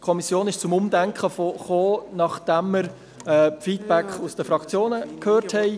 In der Kommission fand jedoch ein Umdenken statt, nachdem wir die Rückmeldungen aus den Fraktionen gehört hatten.